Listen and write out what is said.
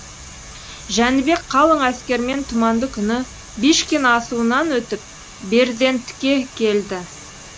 жәнібек қалың әскермен тұманды күні бишкин асуынан өтіп берзендтке келді